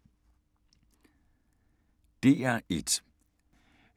DR1